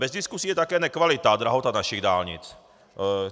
Bez diskusí je také nekvalita a drahota našich dálnic.